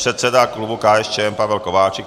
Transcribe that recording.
Předseda klubu KSČM Pavel Kováčik.